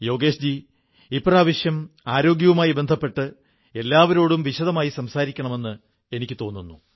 യോഗേശ് ജീ ഇപ്രാവശ്യം ആരോഗ്യവുമായി ബന്ധപ്പെട്ട് എല്ലാവരോടും വിശദമായി സംസാരിക്കണമെന്ന് എനിക്കും തോന്നുന്നു